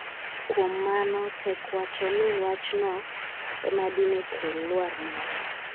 kuom mano tek wacho ni wachno ema dine kel lwar mare